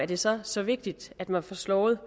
det så er så vigtigt at man får slået